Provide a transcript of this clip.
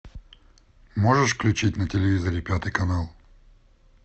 можешь включить на телевизоре пятый канал